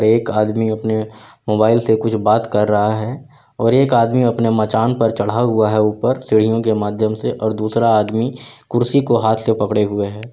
एक आदमी अपने मोबाइल से कुछ बात कर रहा है और एक आदमी अपने मचान पर चढ़ा हुआ है ऊपर सीढ़ियों के माध्यम से और दूसरा आदमी कुर्सी को हाथ से पकड़े हुए है।